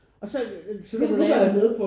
Og så lave